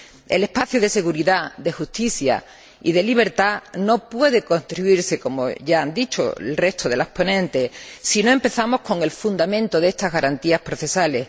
El espacio de seguridad, de justicia y de libertad no puede construirse, como ya han dicho el resto de las ponentes, si no empezamos con el fundamento de estas garantías procesales.